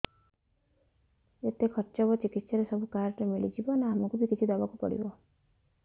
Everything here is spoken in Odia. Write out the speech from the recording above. ଯେତେ ଖର୍ଚ ହେବ ଚିକିତ୍ସା ରେ ସବୁ କାର୍ଡ ରେ ମିଳିଯିବ ନା ଆମକୁ ବି କିଛି ଦବାକୁ ପଡିବ